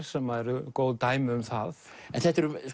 sem eru góð dæmi um það þetta eru